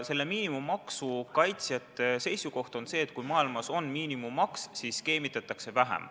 Selle miinimummaksu kaitsjate seisukoht on, et kui kogu maailmas on miinimummaks, siis skeemitatakse vähem.